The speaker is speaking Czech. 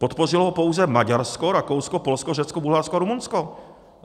Podpořilo ho pouze Maďarsko, Rakousko, Polsko, Řecko, Bulharsko a Rumunsko.